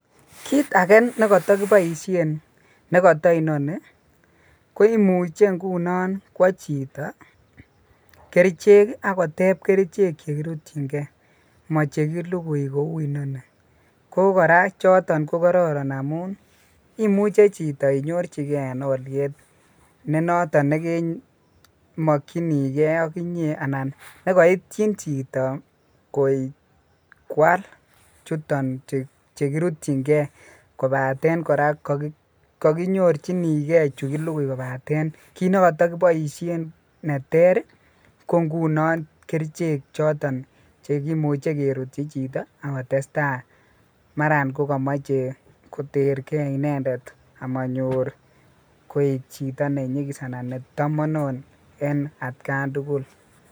Kit age nekoto kiboishen nekoto inoni ko imuche ngunon kwo chito kerichek kii ak koteb kerichek chekiruyin gee mochekilukui kou inoni ko Koraa choton ko kororon amun imuche chito inyorchigee en oliet ne niton nekee mokingee aK inyee anan nekoityin chito koik kwal chuton chekiruyingee kopaten Koraa kokinyorchingee chu kilukui kopaten kit nekotokingee ko koto kiboishen neter rii ko nkunon kerichek choton chekimuche kerutyi chito ak kotestai maran kokomoche kotergee inendet amonyoru koik chito nenyikis anan netomono en atkan tukuk.